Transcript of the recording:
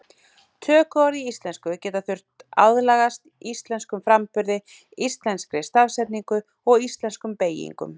Tökuorð í íslensku geta þurft aðlagast íslenskum framburði, íslenskri stafsetningu og íslenskum beygingum.